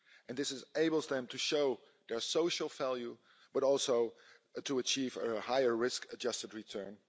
This enables them to show their social value but also to achieve a higher risk adjusted return.